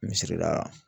Misli la